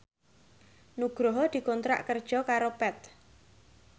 Nugroho dikontrak kerja karo Path